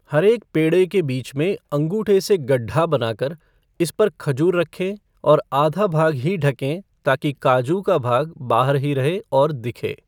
हर एक पेडे़ के बीच में अंगूठे से गड्ढा बना कर इस पर खजूर रखें और आधा भाग ही ढकें ताकि काजू का भाग बाहर ही रहे और दिखे।